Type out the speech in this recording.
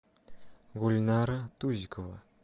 гульнара тузикова